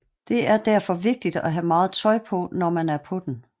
Det er derfor vigtigt at have meget tøj på når man er på den